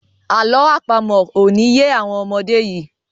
àlọ́ àpamọ̀ o ní ye àwọn ọmọdé yí